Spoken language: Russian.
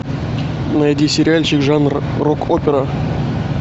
найди сериальчик жанр рок опера